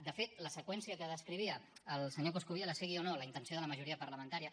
de fet la seqüència que descrivia el senyor coscubiela sigui o no la intenció de la majoria parlamentària